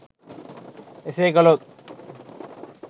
එසේ කළොත්